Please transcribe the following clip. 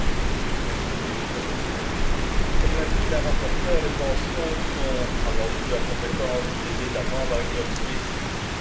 Monsieur le Président, comme l'a dit la rapporteure, les pensions relèvent avant tout de la compétence des États membres, avec leurs spécificités.